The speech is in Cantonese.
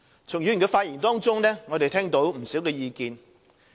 從議員的發言中，我們聽到不少意見。